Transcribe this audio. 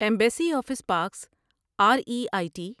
embassy office parks R E I T